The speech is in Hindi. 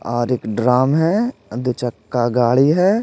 और एक ड्रम है दो चक्का गाड़ी है।